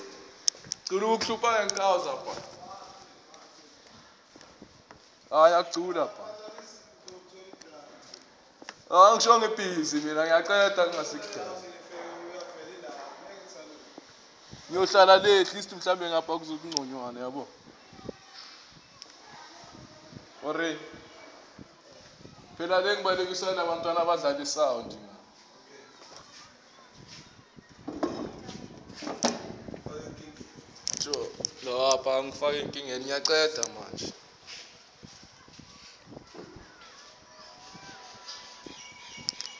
gore maafrika borwa kamoka a